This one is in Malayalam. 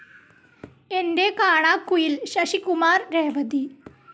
എന്റെ കാണാക്കുയിൽ ശശികുമാർ രേവതി